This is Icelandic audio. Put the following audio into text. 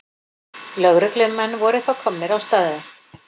Lögreglumenn voru þá komnir á staðinn